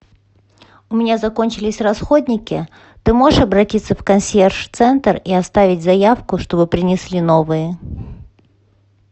у меня закончились расходники ты можешь обратиться в консьерж центр и оставить заявку чтобы принесли новые